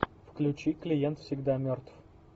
включи клиент всегда мертв